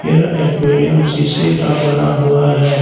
यह एक्वारियम शीशे का बना हुआ है।